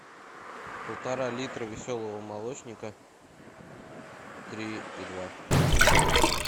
полтора литра веселого молочника три и два